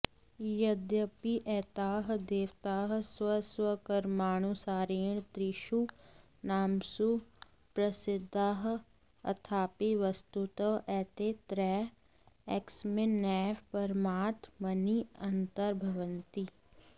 यद्यपि एताः देवताः स्वस्वकर्मानुसारेणा त्रिषु नामसु प्रसिद्धाः अथापि वस्तुतः एते त्रयः एकस्मिन्नेव परमात्मनि अन्तर्भवन्ति